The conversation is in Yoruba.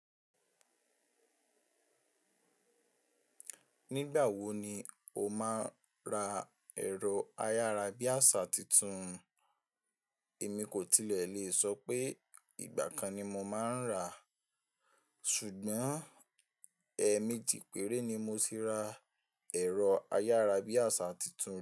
Nígbà wo ni o máa ń ra ẹ̀rọ ayárabíàṣá tuntun? Èmi kò tilẹ̀ lè sọ pé ìgbà kan ni mo máa ń rà, ṣùgbọ́n ẹmeji pèrè ni mo ti ra ẹ̀rọ ayárabíàṣá tuntun.